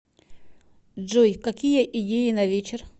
джой какие идеи на вечер